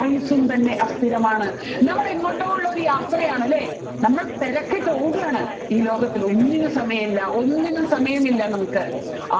ആയുസ്സും തന്നെ അസ്ഥിരമാണ് നമ്മൾ എങ്ങോട്ടോ ഉള്ള ഒരു യാത്രയാണല്ലേ നമ്മൾ തിരക്കിട്ട് ഓടുകയാണ് ഈ ലോകത്തിൽ ഒന്നിന്നും സമയമില്ല ഒന്നിനും സമയമില്ല നമ്മുക്ക്